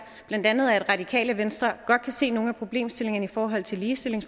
blandt andet at radikale venstre godt kan se nogle af problemstillingerne i forhold til ligestilling